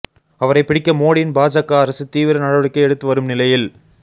அவரை பிடிக்க மோடியின் பாஜக அரசு தீவிர நடவடிக்கை எடுத்து வரும் நிலையில்